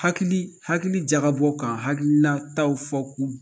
Hakili hakili jagabɔ k'an hakilinataw fɔ